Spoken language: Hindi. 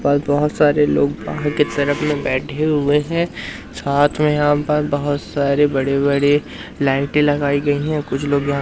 पर बहोत सारे लोग बाहर के तरफ में बैठे हुए हैं साथ में यहां पर बहोत सारे बड़े-बड़े लाइटें लगाई गई है कुछ लोग यहां --